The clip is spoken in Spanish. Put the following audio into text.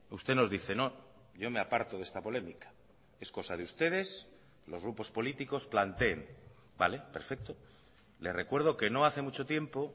usted nos dice no yo me aparto de esta polémica es cosa de ustedes los grupos políticos planteen vale perfecto le recuerdo que no hace mucho tiempo